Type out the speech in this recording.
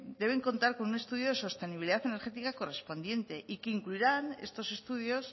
deben contar con un estudio de sostenibilidad energética correspondiente y que incluirán estos estudios